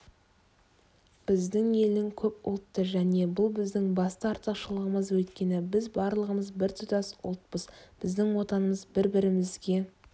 біздің ел көпұлтты және бұл біздің басты артықшылығымыз өйткені біз барлығымыз біртұтас ұлтпыз бізді отанымыз бір-бірімізге